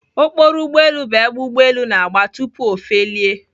Okporo ugboelu bụ ebe ugboelu na-agba tupu O felie